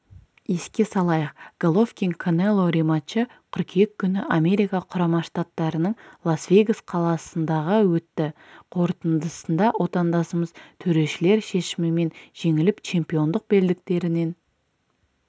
еске салайық головкин канело рематчы қыркүйек күні америка құрама штаттарының лас вегас қаласындағы өтті қортындысында отандасымыз төрешілер шешімімен жеңіліп чемпиондық белдіктерінен